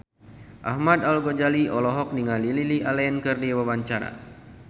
Ahmad Al-Ghazali olohok ningali Lily Allen keur diwawancara